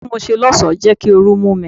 Ojú tí mo ṣe lọ́sọ̀ọ́ ń jẹ́ kí ooru mú mi.